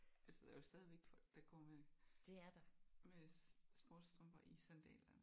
Altså der er jo stadigvæk folk der går med med sportsstrømper i sandalerne